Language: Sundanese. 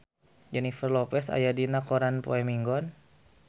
Jennifer Lopez aya dina koran poe Minggon